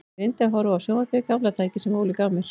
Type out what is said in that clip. Ég reyndi að horfa á sjónvarpið, gamla tækið sem Óli gaf mér.